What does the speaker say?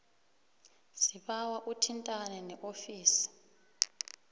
sibawa uthintane neofisi